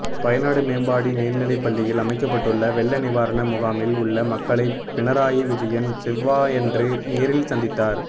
வயநாடு மேப்பாடி மேல்நிலைப்பள்ளியில் அமைக்கப்பட்டுள்ள வெள்ள நிவாரண முகாமில் உள்ள மக்களை பினராயி விஜயன் செவ்வாயன்று நேரில் சந்தித்தார்